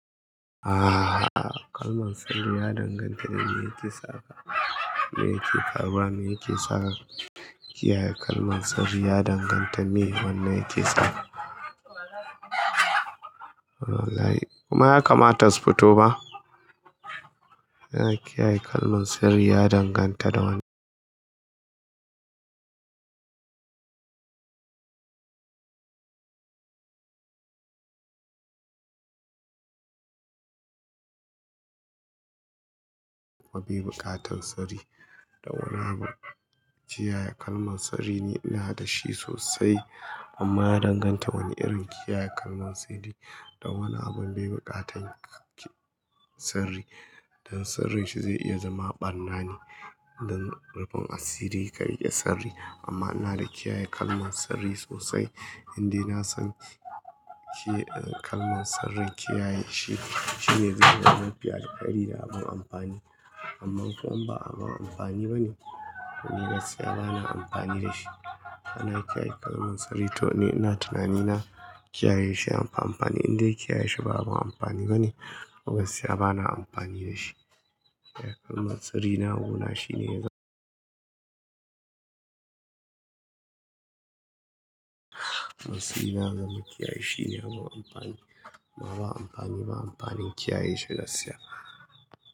Aaa kalman siri ya danganta da wanda yake saka. Me yake karɓuwa, me yake saka. Kiyaye kalman siri ya danganta me wannan yake sawa. Kuma ya kamata su fito ba. Kiyaye kalman siri ya danganta da wani mabibuƙatan sirri da wani abu. Kiyaye kalman siri ne ina da shi sosai amma ya danganta wane irin kiyaye kalman siri da wane abun bibuƙatan ki sirri. Dan sirrin shi zai iya zama ɓarna ne don rufin asiri ka riƙe sirri amma ina da kiyaye kalman siri sosai. Inde nasan shi kalman sirrin kiyaye shi shine zai zama mafi alkairi da abun amfani. Amman ko ba abun amfani bane, ni gaskiya bana amfani da shi. Ina kiyaye kalman siri toh ne ina tunani na kiyaye shi abun amfani, indai kiyaye shi ba abun amfani bane, gaskiya bana amfani da shi. Kiyaye kalman sirri na gona shine ya sai yazmaa kiyaye shi ne abun amfani. Amma ba amfani, ba amfanin kiyaye shi gaskiya.